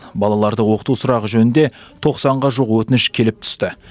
балаларды оқыту сұрағы жөнінде тоқсанға жуық өтініш келіп түсті